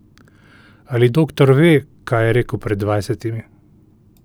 Ali doktor ve, kaj je rekel pred dvajsetimi?